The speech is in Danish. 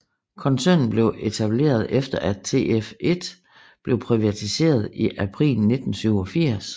Koncernen blev etableret efter at TF1blev privatiseret i april 1987